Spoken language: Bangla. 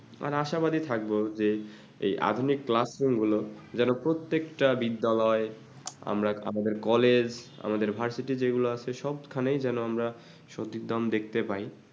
আর আশাবাদী থাকবো যে এই আধুনিক classroom গুলো যেনো প্রত্যেকটা বিদ্যালয়ে busy আমরা আমাদের college আমাদের ভার্সিটি যেগুলো আছে সব খানেই যেনো আমরা সতিদম দেখতে পাই